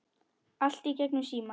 Allt í gegnum síma.